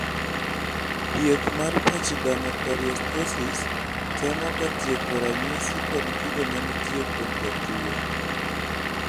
thieth mar pachydermoperiostosis temoga tieko ranyisi kod kido manitie kuom jatuwo